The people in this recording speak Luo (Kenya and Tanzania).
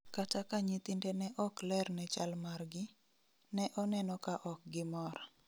Kata ka nyithinde ne ok ler ne chal margi, ne oneno ka ok gimor